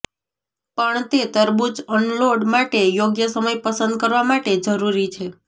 પણ તે તડબૂચ અનલોડ માટે યોગ્ય સમય પસંદ કરવા માટે જરૂરી છે